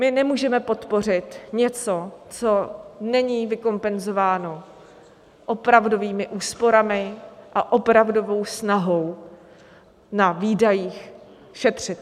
My nemůžeme podpořit něco, co není vykompenzováno opravdovými úsporami a opravdovou snahou na výdajích šetřit.